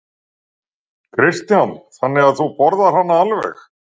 Kristján: Þannig að þú borðar hana alveg?